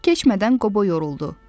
Çox keçmədən Qobo yoruldu.